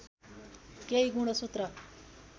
केही गुणसूत्र